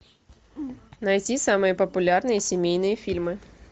найти самые популярные семейные фильмы